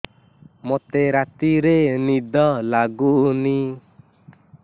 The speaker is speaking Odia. ମୋତେ ରାତିରେ ନିଦ ଲାଗୁନି